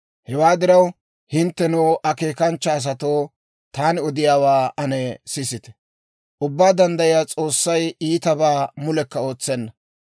«Hewaa diraw, hinttenoo, akeekanchcha asatoo, taani odiyaawaa ane sisite! Ubbaa Danddayiyaa S'oossay iitabaa mulekka ootsenna.